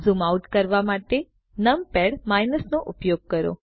zoom out કરવા માટે numpad નો ઉપયોગ કરો